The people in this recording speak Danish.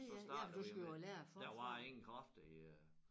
Så startede vi med der var ingen kræfter i øh